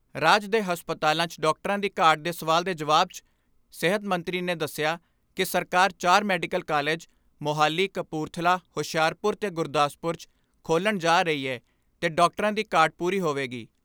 ਰਾਜ ਦੇ ਹਸਪਤਾਲਾਂ 'ਚ ਡਾਕਟਰਾਂ ਦੀ ਘਾਟ ਦੇ ਸਵਾਲ ਦੇ ਜਵਾਬ 'ਚ ਸਿਹਤ ਮੰਤਰੀ ਨੇ ਦੱਸਿਆ ਕਿ ਸਰਕਾਰ ਚਾਰ ਮੈਡੀਕਲ ਕਾਲਜ, ਮੋਹਾਲੀ, ਕਪੂਰਥਲਾ, ਹੁਸ਼ਿਆਰਪੁਰ ਤੇ ਗੁਰਦਾਸਪੁਰ 'ਚ ਖੋਲ੍ਹਣ ਜਾ ਰਹੀ ਏ ਤੇ ਡਾਕਟਰਾਂ ਦੀ ਘਾਟ ਪੂਰੀ ਹੋਵੇਗੀ।